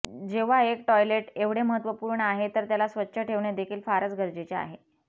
जेव्हा एक टॉयलेट एवढे महत्वपूर्ण आहे तर त्याला स्वच्छ ठेवणे देखील फारच गरजेचे आहे